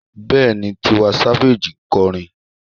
Bẹ́ẹ̀ni, Tiwa Savage ń kọrin.